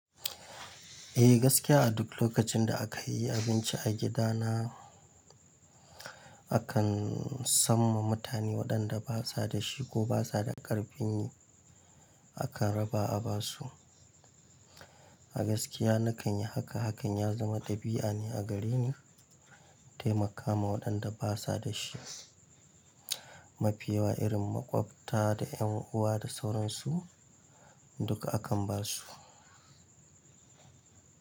Eh gaskiya a duk lokacin da aka yi abinci a gidana, akan samma mutane waɗanda basa da shi ko basa da karfin yi akan raba a basu. A gaskiya nakan yi haka, hakan ya zama ɗabi'a ne a gare ni taimakama waɗanda basa da shi, mafiyawa irin makwabta da yan uwa da sauransu duka akan basu.